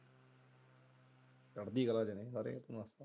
ਚੜ੍ਹਦੀ ਕਲਾ ਚ ਨੇ ਸਾਰੇ।